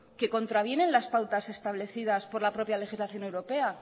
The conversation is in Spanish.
que contravienen las pautas establecidas por la propia legislación europea